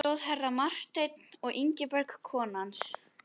Í göngunum stóð herra Marteinn og Ingibjörg kona hans.